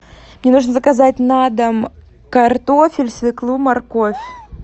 мне нужно заказать на дом картофель свеклу морковь